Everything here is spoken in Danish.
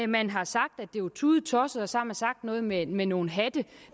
man har sagt at det var tudetosset og så har man sagt noget med med nogle hatte